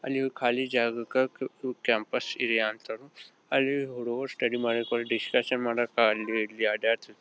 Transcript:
ಅಲ್ಲಿಯೂ ಖಾಲಿ ಜಾಗಕ್ಕೆ ಕ್ಯಾಂಪಸ್ ಇದೆಯಾ ಅಂತಾನೂ ಅಲ್ಲಿ ರೋಡ್ ಸ್ಟಡ್ಡಿ ಮಡಕೆ ಹೋದ್ರೆ ದಿಸ್ಕ್ಯಾಷನ್ --